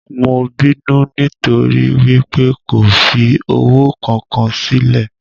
Mo binu nitori wípé ko fi owo kan kan silẹ.